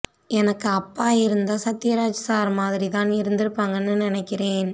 எனக்கு அப்பா இருந்தா சத்யராஜ் சார் மாதிரி தான் இருந்துருபாங்கன்னு நினைக்கிறேன்